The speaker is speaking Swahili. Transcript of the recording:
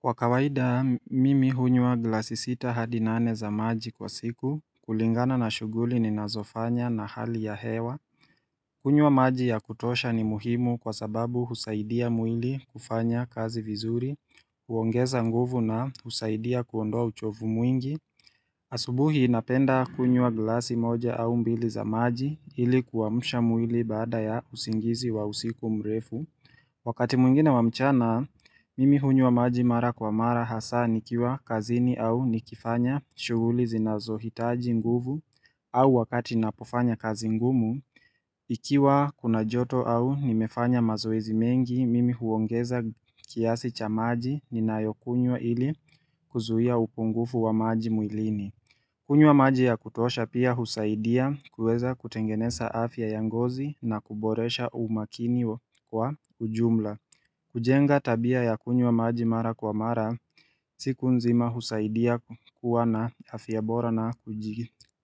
Kwa kawaida, mimi hunyua glasi sita hadi nane za maji kwa siku, kulingana na shuguli ni nazofanya na hali ya hewa. Kunyua maji ya kutosha ni muhimu kwa sababu husaidia mwili kufanya kazi vizuri, uongeza nguvu na husaidia kuondoa uchovu mwingi. Asubuhi inapenda kunyua glasi moja au mbili za maji ili kuwamusha mwili baada ya usingizi wa usiku mrefu. Wakati mwingine wamchana, mimi hunywa maji mara kwa mara hasa nikiwa kazini au nikifanya shuguli zinazohitaji nguvu au wakati napofanya kazi ngumu. Ikiwa kuna joto au nimefanya mazoezi mengi, mimi huongeza kiasi cha maji ninayokunywa ili kuzuhia upungufu wa maji mwilini. Kunywa maji ya kutosha pia husaidia kuweza kutengeneza afya ya ngozi na kuboresha umakini wa kwa ujumla. Kujenga tabia ya kunywa maji mara kwa mara siku nzima husaidia kuwa na afya bora na